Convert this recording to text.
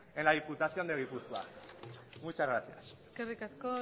en la diputación de gipuzkoa muchas gracias eskerrik asko